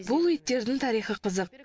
бұл иттердің тарихы қызық